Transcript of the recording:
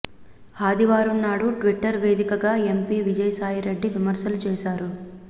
ఆదివారం నాడు ట్విట్టర్ వేదికగా ఎంపీ విజయసాయిరెడ్డి విమర్శలు చేశారు